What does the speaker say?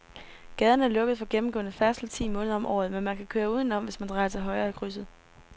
Gaden er lukket for gennemgående færdsel ti måneder om året, men man kan køre udenom, hvis man drejer til højre i krydset.